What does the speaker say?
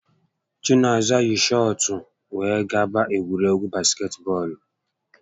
Chinaza yi shọọtụ were gaba egwuregwu basketbọọlụ